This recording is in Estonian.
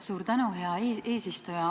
Suur tänu, hea eesistuja!